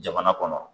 Jamana kɔnɔ